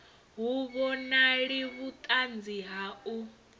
hu vhonali vhuṱanzi ha u